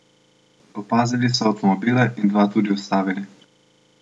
Opazili so avtomobile in dva tudi ustavili.